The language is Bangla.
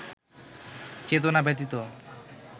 চেতনা ব্যতীত